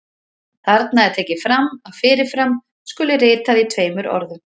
Þarna er tekið fram að fyrir fram skuli ritað í tveimur orðum.